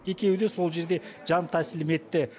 екеуі де сол жерде жантәсілім етті